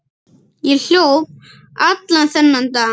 Ég hljóp allan þennan dag.